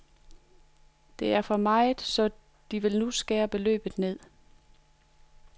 Det er for meget, så de vil nu skære beløbet ned.